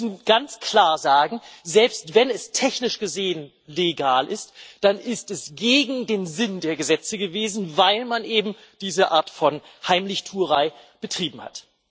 Wir müssen ganz klar sagen Selbst wenn es technisch gesehen legal ist, dann ist es gegen den Sinn der Gesetze gewesen, weil man eben diese Art von Heimlichtuerei betrieben hat.